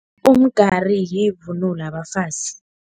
Umgari yivunulo yabafazi.